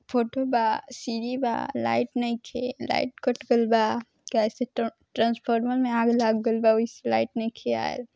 Photo बा सीढ़ी बा लाइट नइखे लाइट कट गल बा कहेसे ट्रैन्स्फॉर्मर मे आग लईग गेल बा ओहि से लाइट नइखे आएल ।